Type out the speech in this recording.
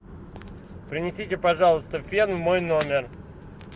принесите пожалуйста фен в мой номер